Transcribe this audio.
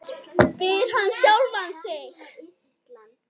spyr hann sjálfan sig.